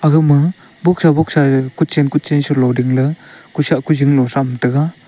aga ma bosa boxsa gaga kuchen kuchen se low dingley kusah kuling salow tham tega.